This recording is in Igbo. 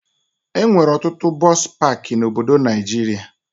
Enwere ọtụtụ bọsụ pakị na obodo Naijiria